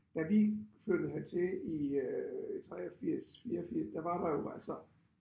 Da vi flyttede hertil i øh i 83 84 der var der jo altså